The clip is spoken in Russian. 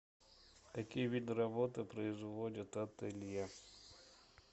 какие виды работы производит ателье